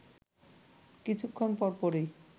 কিছুক্ষণ পরপরই